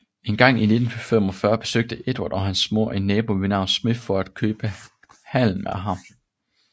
Engang i 1945 besøgte Edward og hans mor en nabo ved navn Smith for at købe halm af ham